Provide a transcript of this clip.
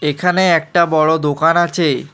এখানে একটা বড় দোকান আছে।